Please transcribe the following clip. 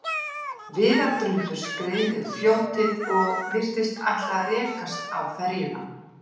Viðardrumbur skreið niður fljótið og virtist ætla að rekast á ferjuna.